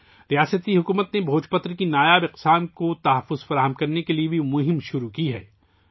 ریاستی حکومت نے بھوج پتر کی نایاب نسلوں کے تحفظ کے لیے بھی ایک مہم بھی شروع کی ہے